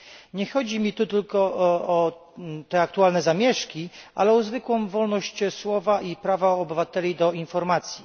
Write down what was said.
Nie chodzi mi tu tylko o te aktualne zamieszki, ale o zwykłą wolność słowa i prawa obywateli do informacji.